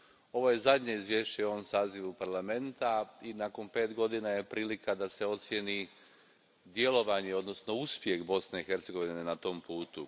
Ovo je zadnje izvješće u ovom sazivu Parlamenta i nakon pet godina prilika je da se ocijeni djelovanje, odnosno uspjeh Bosne i Hercegovine na tom putu.